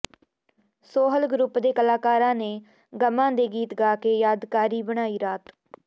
Sohal group ਦੇ ਕਲਾਕਾਰਾਂ ਨੇ ਗ਼ਮਾਂ ਦੇ ਗੀਤ ਗਾ ਕੇ ਯਾਦਗਾਰੀ ਬਣਾਈ ਰਾਤ